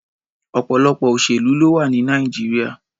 Ọ̀pọ̀lọpọ̀ òṣèlú ló wà ní Nàìjíríà.